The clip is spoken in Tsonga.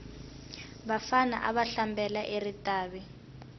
vafana ava hlambela eritavi